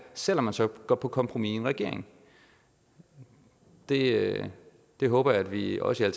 selv om man så går på kompromis i en regering det det håber jeg at vi også i